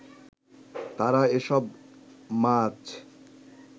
তারা এসব মাছ